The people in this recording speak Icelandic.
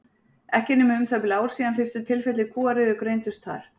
Ekki er nema um það bil ár síðan fyrstu tilfelli kúariðu greindust þar.